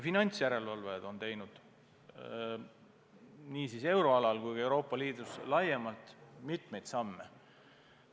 Finantsjärelevalvajad on teinud nii euroalal kui ka Euroopa Liidus laiemalt mitmeid samme.